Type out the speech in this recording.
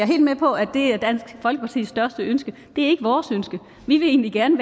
helt med på at det er dansk folkepartis største ønske det er ikke vores ønske vi vil egentlig gerne